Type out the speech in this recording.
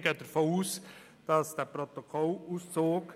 Wir gehen davon aus, dass der Protokollauszug